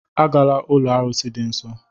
Agala ụlọ arụsị dị nsọ!